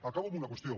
acabo amb una qüestió